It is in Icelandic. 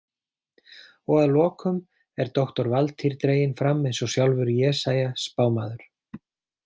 Og að lokum er doktor Valtýr dreginn fram eins og sjálfur Jesaja spámaður.